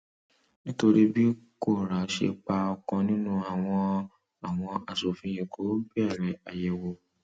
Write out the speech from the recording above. nítorí bí kóra ṣe pa ọkan nínú wọn àwọn aṣòfin èkó bẹrẹ àyẹwò